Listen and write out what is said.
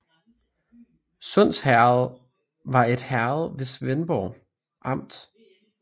Sunds Herred var et herred i Svendborg Amt